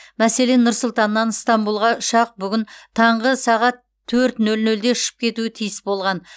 мәселен нұр сұлтаннан ыстанбұлға ұшақ бүгін таңғы төрт нөл нөлде ұшып кетуі тиіс болған